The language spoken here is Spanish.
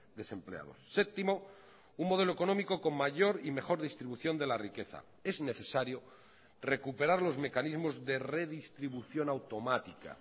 desempleados séptimo un modelo económico con mayor y mejor distribución de la riqueza es necesario recuperar los mecanismos de redistribución automática